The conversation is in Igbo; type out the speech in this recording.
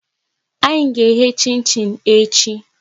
Anyị ga eghe chin chin echi